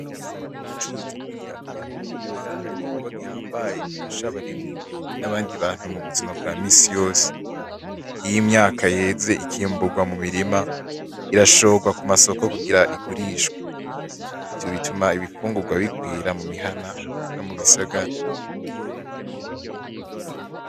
Ubucurizi bwimyaka yomumirima, n'igikorwa gihambaye gifasha abarimyi, n'abandi bantu mubuzima bwa misi yose, iyo imyaka yeze ikimbugwa mumirima irashorwa kuma soko kugira igurishwe, ivyo bituma ibifungurwa birwira mumihana, nomubisagara.